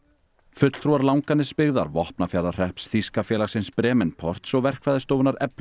fulltrúar Langanesbyggðar Vopnafjarðarhrepps þýska félagsins Bremenports og verkfræðistofunnar